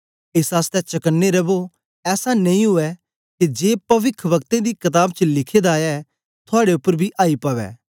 एस आसतै चकने रवो ऐसा नेई ऊऐ के जे पविखवक्तें दी कताब च लिखे दा ऐ थुआड़े उपर बी आई पवै